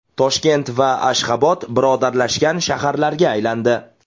Toshkent va Ashxobod birodarlashgan shaharlarga aylandi.